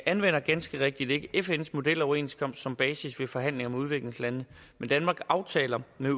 anvender ganske rigtigt ikke fns modeloverenskomst som basis ved forhandlinger med udviklingslande men danmarks aftaler med